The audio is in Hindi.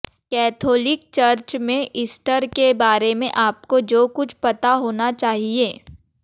कैथोलिक चर्च में ईस्टर के बारे में आपको जो कुछ पता होना चाहिए